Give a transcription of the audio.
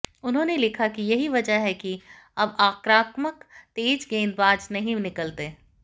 उन्होंने लिखा कि यही वजह है कि अब आक्रामक तेज गेंदबाज नहीं निकलते